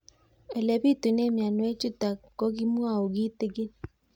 Ole pitune mionwek chutok ko kimwau kitig'ín